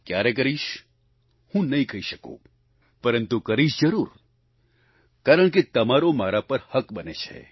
ક્યારે કરીશ હું નહીં કહી શકું પરંતુ કરીશ જરૂર કારણ કે તમારો મારા પર હક બને છે